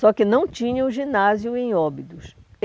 Só que não tinha o ginásio em Óbidos.